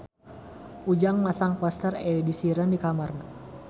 Ujang masang poster Ed Sheeran di kamarna